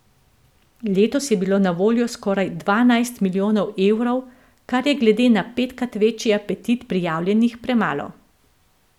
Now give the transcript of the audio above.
Letos je bilo na voljo skoraj dvanajst milijonov evrov, kar je glede na petkrat večji apetit prijavljenih premalo.